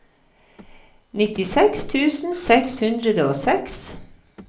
nittiseks tusen seks hundre og seks